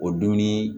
O dunni